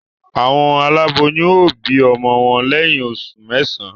Awon aláboyún o bi ọmọ wọn lẹyìn oṣù mẹsan